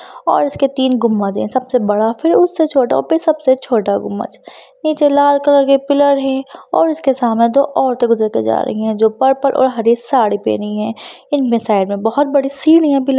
और इसके तीन गुम्मज है सबसे बड़ा फिर उससे छोटा और फिर सबसे छोटा गुम्मज । नीचे लाल कलर के पिलर है और उसके सामने दो औरते गुजर के जा रही है जो पर्पल और हरी साड़ी पहनी है इनमे साइड मे बोहोत बड़ी सीढिया